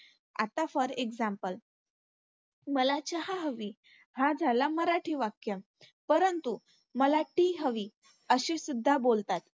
आता for example मला चहा हवी हा झाला मराठी वाक्य. परंतु, मला tea हवी अशीसुद्धा बोलतात.